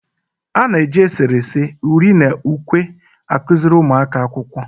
A na-eji eserese, uri na ukwe akụziri ụmụ akwụkwọ ihe.